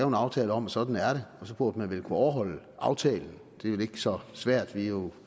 en aftale om at sådan er det og så burde man vel kunne overholde aftalen det er vel ikke så svært vi er jo